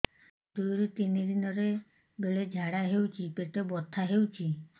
ଦୁଇରୁ ତିନି ଦିନରେ ବେଳେ ଝାଡ଼ା ହେଉଛି ପେଟ ବଥା ହେଉଛି